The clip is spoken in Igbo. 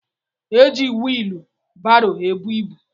Eji whielu barô ebú ịbụ.